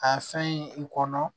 A fɛn in i kɔnɔ